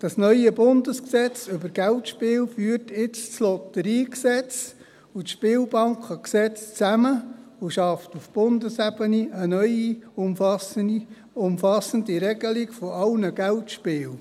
Das neue Bundesgesetz über Geldspiele (Geldspielgesetz, BGS) führt nun das Lotteriegesetz und das Spielbankengesetz zusammen und schafft auf Bundesebene eine neue, umfassende Regelung aller Geldspiele.